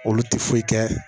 Olu tɛ foyi kɛ